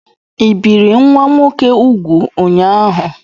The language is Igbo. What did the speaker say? Ị bìri nwa nwoke úgwù ụnyaahụ?